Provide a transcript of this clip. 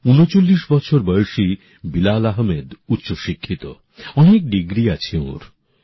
৩৯ বছর বয়সী বিলাল আহমেদ উচ্চ শিক্ষিত অনেক ডিগ্রী আছে ওঁর